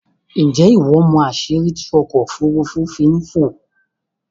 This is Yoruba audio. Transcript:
Ǹjé́ ìwọ mọ̀ àsìrí tí ọkò òfúrùfú fi ń fò?